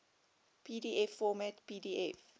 pdf format pdf